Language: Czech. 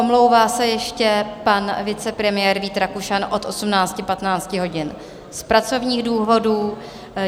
Omlouvá se ještě pan vicepremiér Vít Rakušan od 18.15 hodin z pracovních důvodů.